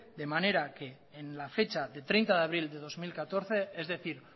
de manera que en la fecha de treinta de abril de dos mil catorce es decir